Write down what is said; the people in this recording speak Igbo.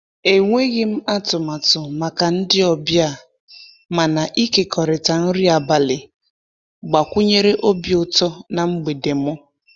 E nweghịm atụmatụ maka ndị ọbịa, mana ịkekọrịta nri abalị gbakwunyere obi utọ na mgbede m.